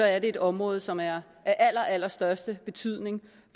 er det et område som er af allerallerstørste betydning